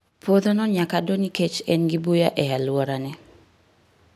Puodhono nyakka doo niekech engi buya e aluora ne.